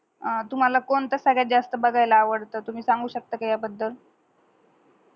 आह तुम्हाला कोणत सैड जास्त बगायला आवडत, तुम्ही सांगू शकता काय ह्या बद्दल